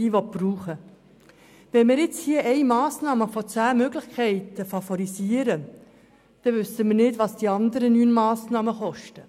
Favorisieren wir jetzt eine Massnahme von zehn Möglichkeiten, wissen wir nicht, was die anderen neun Massnahmen kosten.